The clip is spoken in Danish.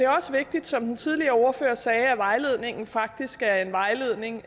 også vigtigt som den tidligere ordfører sagde at vejledningen faktisk er en vejledning